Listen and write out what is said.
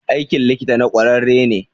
Aikin likita na kwararre ne.